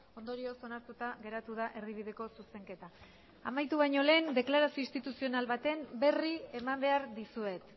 ondorioz onartuta geratu da erdibideko zuzenketa amaitu baino lehen deklarazio instituzional baten berri eman behar dizuet